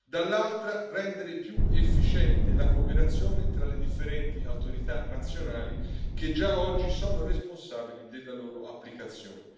dall'altra, rendere più efficiente la cooperazione tra le differenti autorità nazionali, che già oggi sono responsabili della loro applicazione.